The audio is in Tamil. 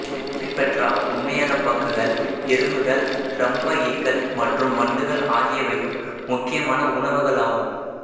ஹெமிப்டெரா உண்மையான பக்குகள் எறும்புகள் இரம்ப ஈக்கள் மற்றும் வண்டுகள் ஆகியவையும் முக்கியமான உணவுகள் ஆகும்